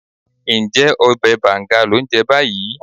Ǹjẹ́ ọbẹ̀ bàǹga lò ń jẹ báyìí?